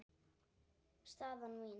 Staðan mín?